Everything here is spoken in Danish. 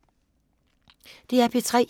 DR P3